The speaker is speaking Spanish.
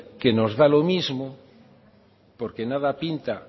que nos da lo mismo porque nada pinta